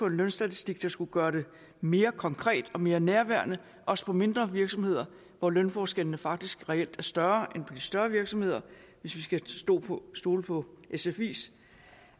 en lønstatistik der skulle gøre det mere konkret og mere nærværende også på mindre virksomheder hvor lønforskellene faktisk reelt er større end på de større virksomheder hvis vi skal stole på stole på sfis